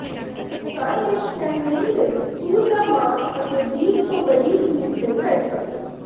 ਘਰ ਵਿਚ ਪੈਨਮੇਨੀ ਲਈ ਸੂਰ ਦਾ ਮਾਸ ਅਤੇ ਬੀਫ ਤੋਂ ਬਾਰੀਕ ਮੀਟ ਲਈ ਰਾਈਫਲ